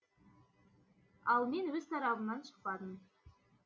ал мен өз тарабымнан шықпадым